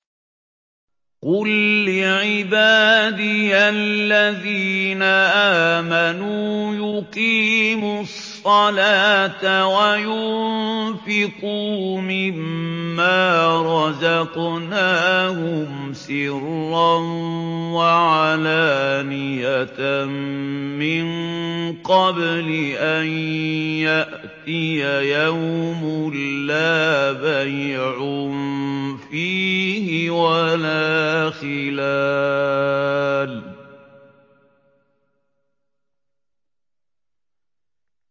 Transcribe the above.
قُل لِّعِبَادِيَ الَّذِينَ آمَنُوا يُقِيمُوا الصَّلَاةَ وَيُنفِقُوا مِمَّا رَزَقْنَاهُمْ سِرًّا وَعَلَانِيَةً مِّن قَبْلِ أَن يَأْتِيَ يَوْمٌ لَّا بَيْعٌ فِيهِ وَلَا خِلَالٌ